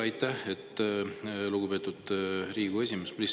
Aitäh, lugupeetud Riigikogu esimees!